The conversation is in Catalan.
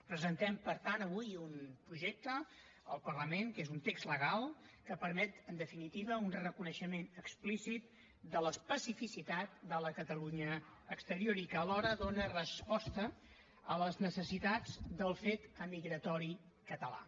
presentem per tant avui un projecte al parlament que és un text legal que permet en definitiva un reconeixement explícit de l’especificitat de la catalunya exterior i que alhora dóna resposta a les necessitat del fet emigratori català